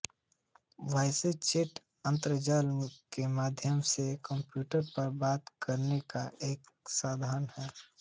voice chat अंतर्जाल के माध्यम से कंप्यूटर पर बात करने का एक साधन है